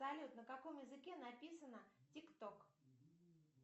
салют на каком языке написано тик ток